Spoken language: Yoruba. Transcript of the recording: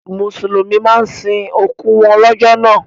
Mùsùlùmí máa ń sin òkú wọn lọ́jọ́ náà